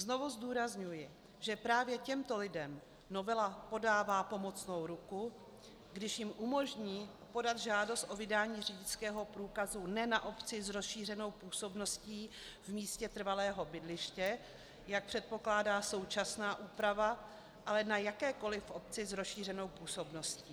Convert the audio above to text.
Znovu zdůrazňuji, že právě těmto lidem novela podává pomocnou ruku, když jim umožní podat žádost o vydání řidičského průkazu ne na obci s rozšířenou působností v místě trvalého bydliště, jak předpokládá současná úprava, ale na jakékoliv obci s rozšířenou působností.